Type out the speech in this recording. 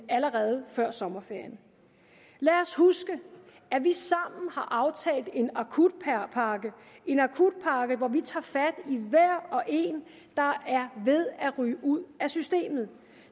allerede før sommerferien lad os huske at vi sammen har aftalt en en akutpakke hvor vi tager fat i hver og en der er ved at ryge ud af systemet